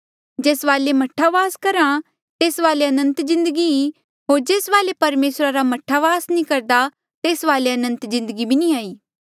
जेस वाले मह्ठा वास करहा आ तेस वाले अनंत जिन्दगी ई होर जेस वाले परमेसरा रा मह्ठा वास नी करदा आ तेस वाले अनंत जिन्दगी भी नी ई